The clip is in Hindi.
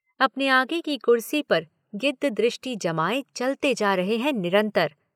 अपने आगे की कुर्सी पर गिद्धदृष्टि जमाये चलते जा रहे हैं निरंतर।